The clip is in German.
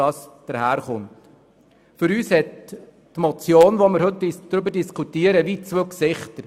Für uns hat die Motion, über die wir diskutieren, zwei Gesichter.